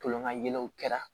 Tolon ka yɛlɛw kɛra